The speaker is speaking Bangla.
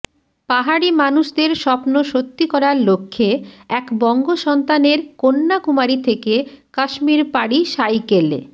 পাহাড়ি মানুষদের স্বপ্ন সত্যি করার লক্ষ্যে এক বঙ্গসন্তানের কন্যাকুমারী থেকে কাশ্মীর পাড়ি সাইকেলে